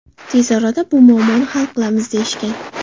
Tez orada bu muammoni hal qilamiz deyishgan.